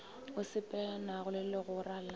o sepelelanago le legora la